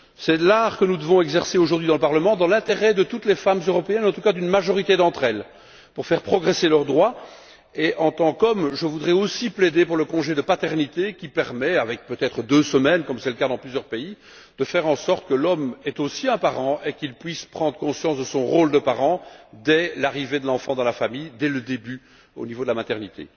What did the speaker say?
C'est l'art que nous devons exercer aujourd'hui au Parlement dans l'intérêt de toutes les femmes européennes, en tout cas, d'une majorité d'entre elles pour faire progresser leurs droits. Et, en tant qu'homme, je voudrais aussi plaider pour le congé de paternité qui permet avec peut être deux semaines, comme c'est le cas dans plusieurs pays, de faire en sorte que l'homme soit aussi un parent et qu'il puisse prendre conscience de son rôle de parent dès l'arrivée de l'enfant dans la famille, dès le début, au niveau de la maternité.